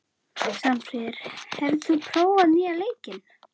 Svanfríður, hefur þú prófað nýja leikinn?